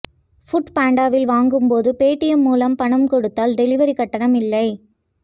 ஃபுட்பாண்டாவில் வாங்கும்போது பேடிஎம் மூலம் பணம் கொடுத்தால் டெலிவரி கட்டணம் இல்லை